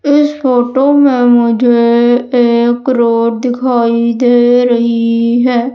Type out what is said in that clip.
इस फोटो में मुझे एक रोड दिखाई दे रही है।